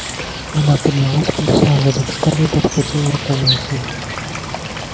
она поднялась подошла сзади к скарлетт обхватила руками её шею